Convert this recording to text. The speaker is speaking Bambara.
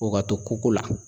O ga to koko la